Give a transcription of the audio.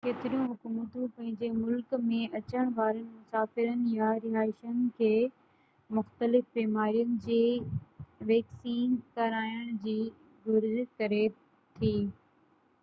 ڪيتريون حڪومتون پنهنجي ملڪ ۾ اچڻ وارن مسافرن يا رهائيشن کي مختلف بيمارين جي ويڪسين ڪرائڻ جي گهرج ڪري ٿي